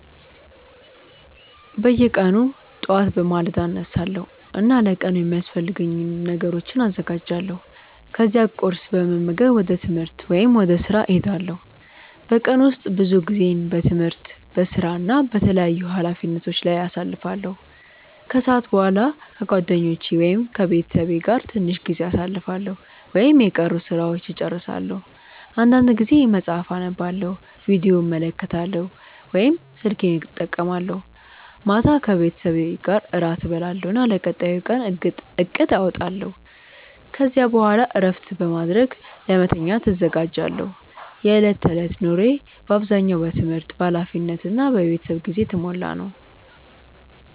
በየቀኑ ጠዋት በማለዳ እነሳለሁ እና ለቀኑ የሚያስፈልጉ ነገሮችን አዘጋጃለሁ። ከዚያ ቁርስ በመመገብ ወደ ትምህርት ወይም ወደ ሥራ እሄዳለሁ። በቀን ውስጥ ብዙ ጊዜዬን በትምህርት፣ በሥራ እና በተለያዩ ኃላፊነቶች ላይ አሳልፋለሁ። ከሰዓት በኋላ ከጓደኞቼ ወይም ከቤተሰቤ ጋር ትንሽ ጊዜ አሳልፋለሁ ወይም የቀሩ ሥራዎችን እጨርሳለሁ። አንዳንድ ጊዜ መጽሐፍ አነባለሁ፣ ቪዲዮ እመለከታለሁ ወይም ስልኬን እጠቀማለሁ። ማታ ከቤተሰቤ ጋር እራት እበላለሁ እና ለቀጣዩ ቀን እቅድ አወጣለሁ። ከዚያ በኋላ እረፍት በማድረግ ለመተኛት እዘጋጃለሁ። የዕለት ተዕለት ኑሮዬ በአብዛኛው በትምህርት፣ በኃላፊነት እና በቤተሰብ ጊዜ የተሞላ ነው።